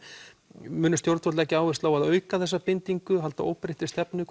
munu stjórnvöld leggja áherslu á að auka þessa bindingu halda óbreyttri stefnu